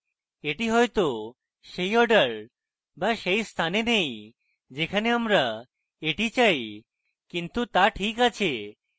এটি হয়তো সেই order be সেই স্থানে নেই যেখানে আমরা এটি চাই কিন্তু তা ঠিক আছে